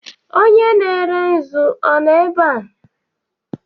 Onye na-ere nzu ọ nọ ebe a?